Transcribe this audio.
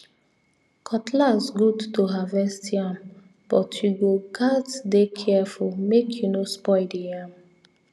cutlass good to harvest yam but you go gatz dey careful make you no spoil the yam